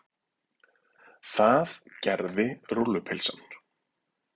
Það gerði rúllupylsan.